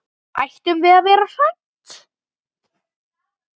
Ættum við að vera hrædd?